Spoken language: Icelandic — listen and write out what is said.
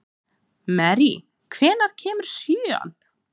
Mary, hvenær kemur sjöan?